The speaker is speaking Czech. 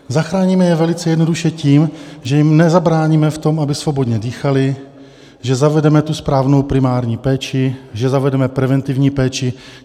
Zachráníme je velice jednoduše tím, že jim nezabráníme v tom, aby svobodně dýchali, že zavedeme tu správnou primární péči, že zavedeme preventivní péči.